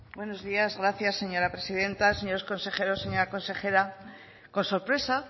buenos días gracias señora presidenta señora consejeros señora consejera con sorpresa